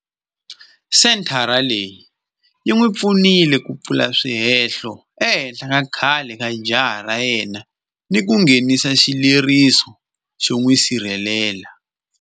Senthara leyi yi n'wi pfunile ku pfula swihehlo ehenhla ka khale ka jaha ra yena ni ku nghenisa xileriso xo n'wi sirhelela.